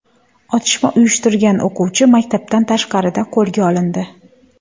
Otishma uyushtirgan o‘quvchi maktabdan tashqarida qo‘lga olindi.